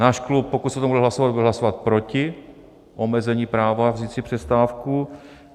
Náš klub, pokud se o tom bude hlasovat, bude hlasovat proti omezení práva vzít si přestávku.